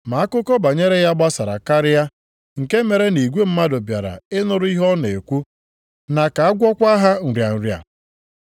Ma akụkọ banyere ya gbasara karịa, nke mere na igwe mmadụ bịara ịnụrụ ihe ọ na-ekwu, na ka a gwọọkwa ha nrịa nrịa.